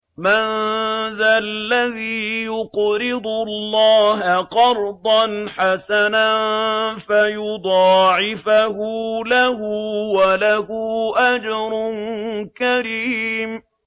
مَّن ذَا الَّذِي يُقْرِضُ اللَّهَ قَرْضًا حَسَنًا فَيُضَاعِفَهُ لَهُ وَلَهُ أَجْرٌ كَرِيمٌ